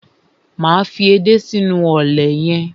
Máa fi edé sínú ọ̀lẹ̀ yẹn.